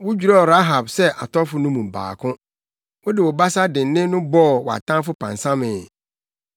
Wodwerɛw Rahab sɛ atɔfo no mu baako; wode wo basa dennen no bɔɔ wʼatamfo pansamee.